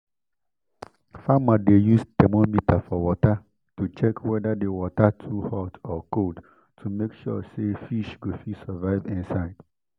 farmer dey use thermometer for water to check wether the water too hot or cold to make sure say fish go fit survive inside